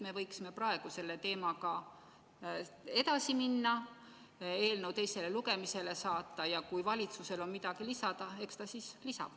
Me võiksime ju praegu selle teemaga edasi minna, eelnõu teisele lugemisele saata, ja kui valitsusel on midagi lisada, eks ta siis lisab.